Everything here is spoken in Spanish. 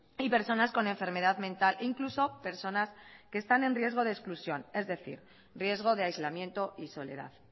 y personas con enfermedad mental incluso personas que están en riesgo de exclusión es decir riesgo de aislamiento y soledad